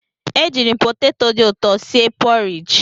Ejirim poteto dị ụtọ si e porij.